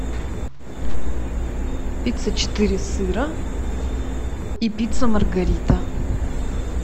пицца четыре сыра и пицца маргарита